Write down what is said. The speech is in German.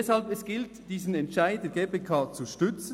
Deshalb gilt es, diesen Entscheid der GPK zu stützen.